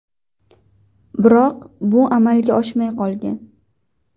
Biroq bu amalga oshmay qolgan.